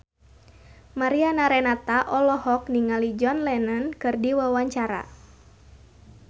Mariana Renata olohok ningali John Lennon keur diwawancara